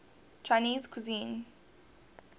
chinese cuisine